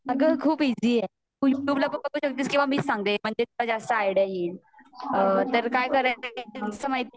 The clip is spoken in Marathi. आग खूप ईज़ी आहे तुला कस मीच सांगते तुला कस जास्त आयड्या येईल अ तर काय करायचं त्याच्यामध्ये